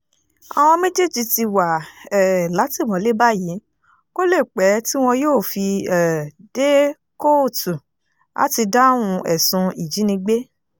àwọn méjèèjì ti wà um látìmọ́lé báyìí kó lè pẹ́ tí wọn yóò fi um dé kóòtù láti dáhùn ẹ̀sùn ìjínigbé